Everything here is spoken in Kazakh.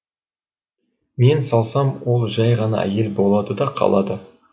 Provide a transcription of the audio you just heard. мен салсам ол жай ғана әйел болады да қалады